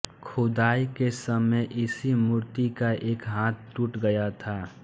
खुदाई के समय इसी मूर्ति का एक हाथ टूट गया था